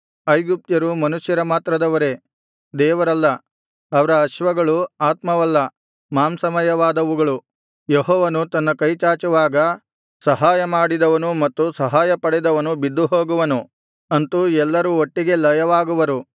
ಐಗುಪ್ತ್ಯರು ಮನುಷ್ಯ ಮಾತ್ರದವರೇ ದೇವರಲ್ಲ ಅವರ ಅಶ್ವಗಳು ಆತ್ಮವಲ್ಲ ಮಾಂಸಮಯವಾದವುಗಳು ಯೆಹೋವನು ತನ್ನ ಕೈ ಚಾಚುವಾಗ ಸಹಾಯ ಮಾಡಿದವನು ಮತ್ತು ಸಹಾಯಪಡೆದವನು ಬಿದ್ದುಹೋಗುವನು ಅಂತೂ ಎಲ್ಲರೂ ಒಟ್ಟಿಗೆ ಲಯವಾಗುವರು